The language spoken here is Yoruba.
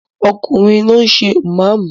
Ọkùnrin ló ń ṣe ìmáàmù!